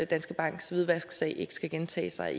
danske banks hvidvasksag ikke skal gentage sig